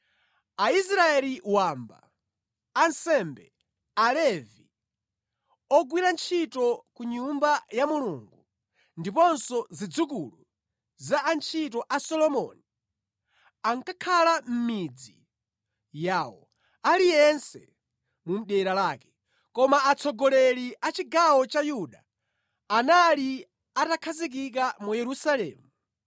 Aisraeli wamba, ansembe, Alevi, ogwira ntchito ku Nyumba ya Mulungu ndiponso zidzukulu za antchito a Solomoni ankakhala mʼmidzi yawo, aliyense mu dera lake. Koma atsogoleri a chigawo cha Yuda anali atakhazikika mu Yerusalemu.